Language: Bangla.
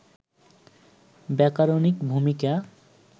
ব্যাকরণিক ভূমিকা